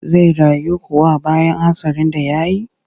Zai rayu kuwa bayan hatsarin da ya yi?